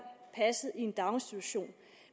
passet i en daginstitution